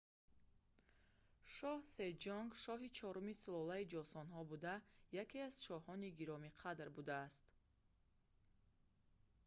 шоҳ сеҷонг шоҳи чорумии сулолаи ҷосонҳо буда яке аз шоҳони гиромиқадр будааст